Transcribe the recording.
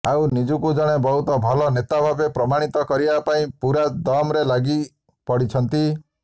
ଆଉ ନିଜକୁ ଜଣେ ବହୁତ ଭଲ ନେତା ଭାବେ ପ୍ରମାଣିତ କରିବା ପାଇଁ ପୂରା ଦମ୍ରେ ଲାଗି ପଡ଼ିଛନ୍ତି